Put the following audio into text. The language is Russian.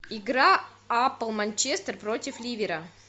игра апл манчестер против ливера